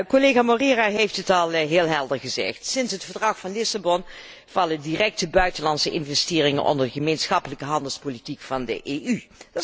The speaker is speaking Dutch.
Collega Moreira heeft het al heel helder gezegd, sinds het Verdrag van Lissabon vallen directe buitenlandse investeringen onder de gemeenschappelijke handelspolitiek van de EU.